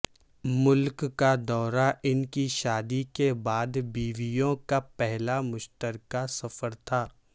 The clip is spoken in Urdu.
ملک کا دورہ ان کی شادی کے بعد بیویوں کا پہلا مشترکہ سفر تھا